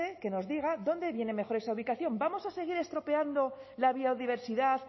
que nos diga dónde viene mejor esa ubicación vamos a seguir estropeando la biodiversidad